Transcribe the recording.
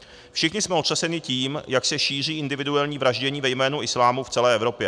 Všichni jsme otřeseni tím, jak se šíří individuální vraždění ve jménu islámu v celé Evropě.